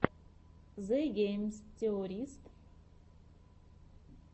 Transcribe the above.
зе гейм теористс